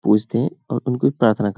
पूजते और उनको प्रार्थना कर --